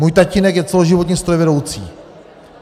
Můj tatínek je celoživotně strojvedoucí.